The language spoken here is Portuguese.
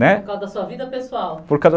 Né, por causa da sua vida pessoal.